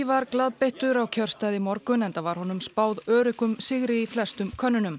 var glaðbeittur á kjörstað í morgun enda var honum spáð öruggum sigri í flestum könnunum